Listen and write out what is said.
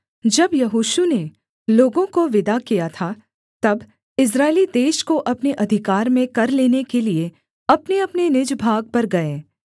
जब यहोशू ने लोगों को विदा किया था तब इस्राएली देश को अपने अधिकार में कर लेने के लिये अपनेअपने निज भाग पर गए